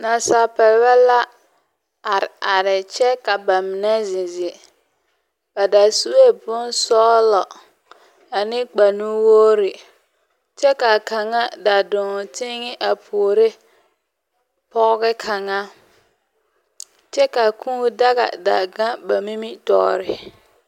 Nasaalpeɛlɛ la are are kyɛka ba mine meŋ zeŋ zeŋ. Ba da sue bonsɔgelɔ ane kpare nuwogiri. kyɛ ka kaŋa da dɔɔ teŋɛ a puore pɔge kaŋa kyɛ ka a kũũ daga da gaŋ ba nimitɔɔre.